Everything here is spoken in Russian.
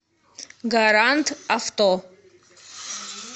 гарант авто